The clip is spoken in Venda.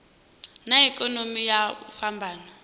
na ikonomi na u fhambana